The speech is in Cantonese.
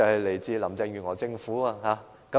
來自林鄭月娥政府。